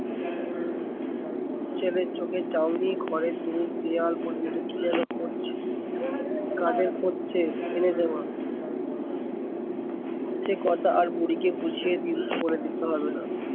ছেলের চোখের চাউনি ঘরের দূর দিয়াল পর্যন্ত কি যেন খুঁজছে, কাদের খুঁজছে সে কথা আর বুড়িকে বুঝিয়ে দিল বলে দিতে হবেনা।